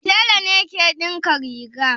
Tela ne ke dinka riga